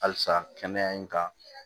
Halisa kɛnɛya in kan